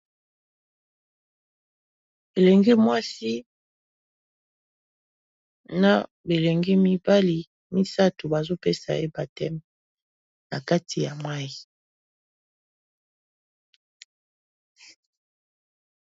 Belenge mwasi, na belenge mibali misato bazopesa ye bateme na kati ya mai.